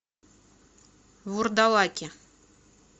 вурдалаки